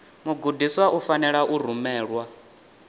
mugudiswa u fanela u rumelwa